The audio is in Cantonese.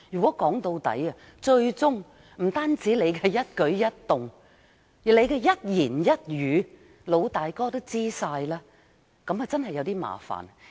說到底，不單是我們的一舉一動，最終連我們的一言一語也會被"老大哥"知悉，這樣就真的有點麻煩。